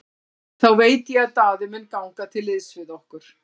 Þá veit ég að Daði mun ganga til liðs við okkur.